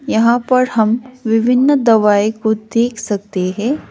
यहां पर हम विभिन्न दवाई को देख सकते हैं।